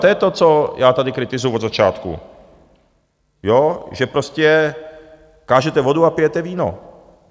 To je to, co já tady kritizuju od začátku, že prostě kážete vodu a pijete víno!